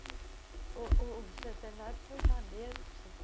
O centenário foi janeiro de